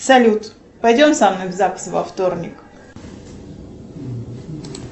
салют пойдем со мной в загс во вторник